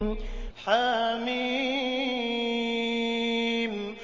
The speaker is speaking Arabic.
حم